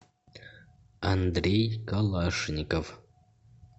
андрей калашников